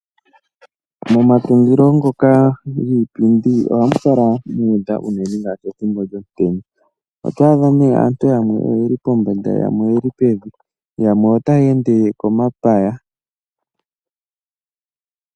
Momatungilo ngoka giipindi ohamu kala mu udha unene ngaashi pethimbo lyomutenya. Oto adha nee aantu yamwe oye li pombanda yamwe oye li pevi, yo yamwe otaya ende komapaya.